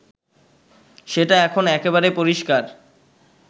সেটা এখন একেবারে পরিষ্কার